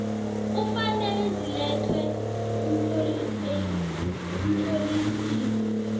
kufanele zilethwe emtlolisini